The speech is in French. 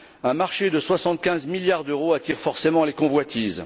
Un marché de soixante quinze milliards d'euros attire forcément les convoitises.